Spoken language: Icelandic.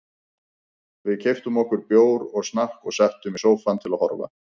Við keyptum okkur bjór og snakk og settumst í sófann til að horfa.